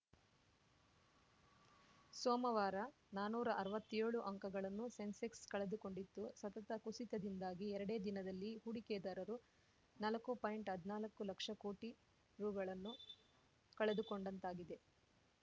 ಸೋಮವಾರ ನಾನುರಾ ಅರ್ವತ್ತೆಳು ಅಂಕಗಳನ್ನು ಸೆನ್ಸೆಕ್ಸ‌ ಕಳೆದುಕೊಂಡಿತ್ತು ಸತತ ಕುಸಿತದಿಂದಾಗಿ ಎರಡೇ ದಿನದಲ್ಲಿ ಹೂಡಿಕೆದಾರರು ನಾಲಕ್ಕು ಪಾಯಿಂಟ್ಹದ್ನಾಲ್ಕು ಲಕ್ಷ ಕೋಟಿ ರು ಗಳನ್ನು ಕಳೆದುಕೊಂಡಂತಾಗಿದೆ